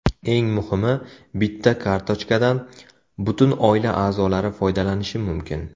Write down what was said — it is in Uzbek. Eng muhimi, bitta kartochkadan butun oila a’zolari foydalanishi mumkin.